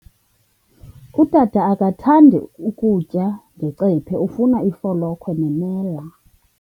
Utata akathandi kutya ngecephe, ufuna ifolokhwe nemela.